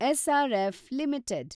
SRF limited